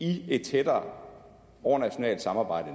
i et tættere overnationalt samarbejde